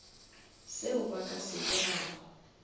seo ba ka se dirago